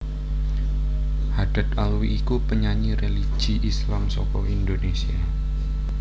Haddad Alwi iku penyanyi religi Islam saka Indonesia